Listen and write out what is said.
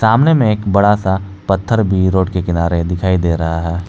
सामने में एक बड़ा सा पत्थर भी रोड के किनारे दिखाई दे रहा है।